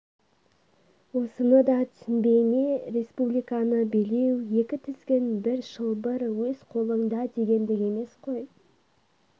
осыны да түсінбей ме республиканы билеу екі тізгін бір шылбыр өз қолыңда дегендік емес қой